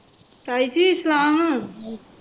ਤਾਈ ਜੀ ਸਲਾਮ